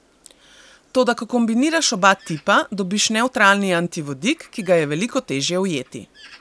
Toda ko kombiniraš oba tipa, dobiš nevtralni antivodik, ki ga je veliko težje ujeti.